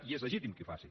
i és legítim que ho facin